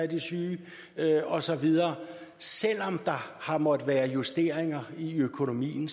de syge og så videre selv om der har måttet være justeringer i økonomien